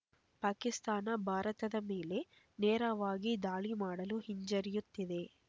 ಪಾಕಿಸ್ತಾನ ಭಾರತದ ಮೇಲೆ ನೇರವಾಗಿ ದಾಳಿ ಮಾಡಲು ಹಿಂಜರಿಯುತ್ತಿದೆ